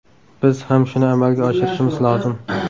Biz ham shuni amalga oshirishimiz lozim.